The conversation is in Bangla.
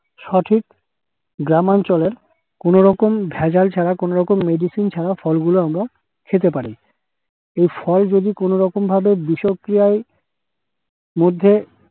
সঠিক গ্রামাঞ্চলের কোনোরকম ভেজাল ছাড়া, কোনোরকম medicine ছাড়া ফলগুলো আমরা খেতে পারি। এ ফল যদি কোনরকম ভাবে বিষক্রিয়ায় মধ্যে